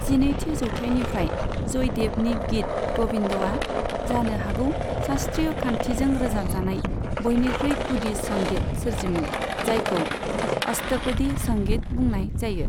जिनैथि जौथाइनिफ्राय जयदेवनि गीत ग'विन्दआ जानो हागौ शास्त्रीय खान्थिजों रोजाबजानाय बयनिख्रुइ गुदि संगित सोरजिमोन जायखौ अष्टपदी संगित बुंनाय जायो।